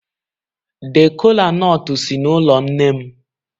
The kola-nut si n'ụlọ nne m.